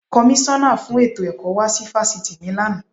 Kọmísọ́nà fún ètò ẹ̀kọ́ wá sí Fásitì mi lánàá.